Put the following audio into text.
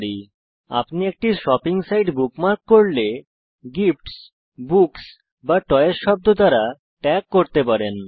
উদাহরণস্বরূপ যখন আপনি একটি শপিং সাইট বুকমার্ক করেন আপনি এটি গিফটস বুকস বা টয়েস শব্দ দ্বারা ট্যাগ করতে পারেন